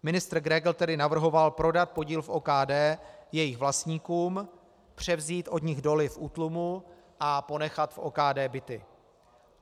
Ministr Grégr tedy navrhoval prodat podíl v OKD jejich vlastníkům, převzít od nich doly v útlumu a ponechat v OKD byty.